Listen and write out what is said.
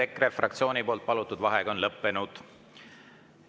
EKRE fraktsiooni palutud vaheaeg on lõppenud.